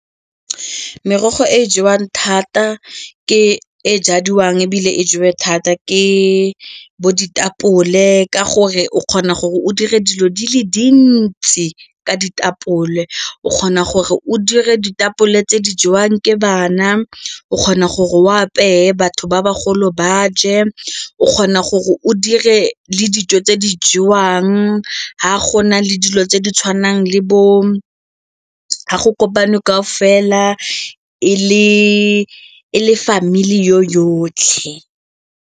Merogo e e jewang thata ke e jadiwang ebile e jewa thata ke bo ditapole ka gore o kgona gore o dire dilo di le dintsi ka ditapole o kgona gore o dire ditapole tse di jewang ke bana, o kgona gore o apeye batho ba bagolo ba je, o kgona gore o dire le dijo tse di jwang ha gona le dilo tse di tshwanang le bo ga go kopane kaofela le le family yotlhe.